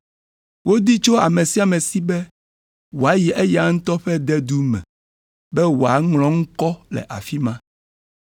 Wodi tso ame sia ame si be wòayi eya ŋutɔ ƒe dedu me be woaŋlɔ eŋkɔ le afi ma.